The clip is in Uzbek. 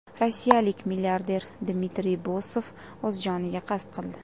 Rossiyalik milliarder Dmitriy Bosov o‘z joniga qasd qildi.